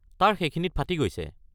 তাৰ সেইখিনিত ফাটি গৈছে।